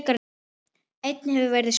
Einnig hefur verið spurt